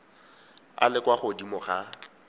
a le kwa godimo ga